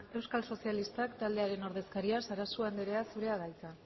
euskal sozialistak taldearen ordezkaria sarasua andrea zurea da hitza